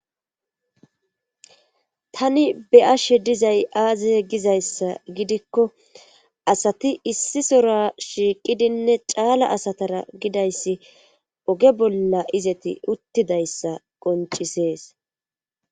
Tani be7ashe dizay aaze gizayssa gidikko asati issi sora shiiqidinne caala asatara gidayssi oge bolla izeti uttidayssa qoncisees.